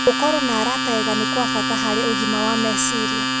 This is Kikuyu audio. Gũkorũo na arata ega nĩ kwa bata harĩ ũgima wa meciria.